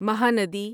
Mahanadi